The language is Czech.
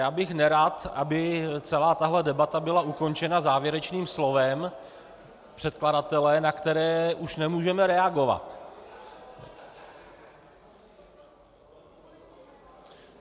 Já bych nerad, aby celá tahle debata byla ukončena závěrečným slovem předkladatele, na které už nemůžeme reagovat.